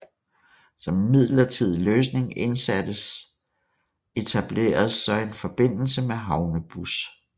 Som en midlertidig løsning indsattes etableredes så en forbindelse med havnebus